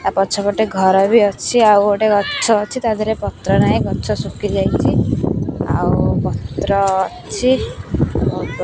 ଆପଛପଟେ ଘରବି ଅଛି ଆଉ ଗୋଟେ ଗଛ ଅଛି ତାଦିହରେ ପତ୍ର ନାହିଁ ଗଛ ସୁଖି ଯାଇଚି ଆଉ ପତ୍ର ଅଛି --